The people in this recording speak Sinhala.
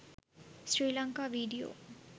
sri lanka video